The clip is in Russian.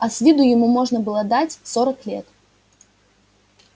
а с виду ему можно было дать сорок лет